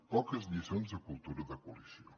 poques lliçons de cultura de coalició